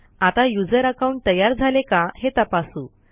आता user account तयार झाले का हे तपासू